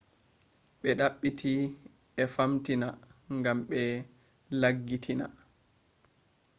be dabbiti e famtina gam be laggitiina